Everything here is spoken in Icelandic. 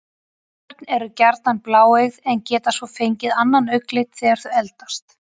Ungabörn eru gjarnan bláeygð en geta svo fengið annan augnlit þegar þau eldast.